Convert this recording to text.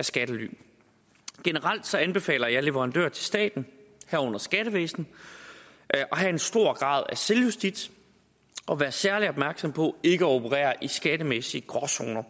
skattely generelt anbefaler jeg leverandører til staten herunder skattevæsenet at have en stor grad af selvjustits og være særlig opmærksomme på ikke at operere i skattemæssige gråzoner